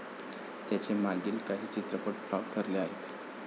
त्याचे मागील काही चित्रपट फ्लॉप ठरले आहेत.